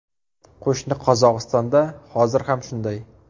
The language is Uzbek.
Qo‘shni Qozog‘istonda hozir ham shunday.